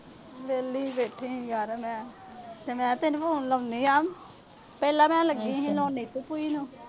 ਵਿਹਲੀ ਈ ਬੈਠੀ ਆ ਯਾਰ ਮੈਂ ਤੇ ਮੈਨੂੰ phone ਲਾਉਂਦੀ ਆ। ਪਹਿਲਾ ਮੈਂ ਲੱਗੀ ਸੀ ਲਾਉਣ ਨੀਤੂ ਭੂਜੀ ਨੂੰ।